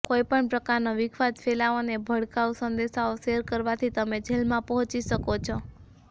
કોઈપણ પ્રકારનો વિખવાદ ફેલાવો અને ભડકાઉ સંદેશાઓ શેર કરવાથી તમે જેલમાં પહોંચી શકો છો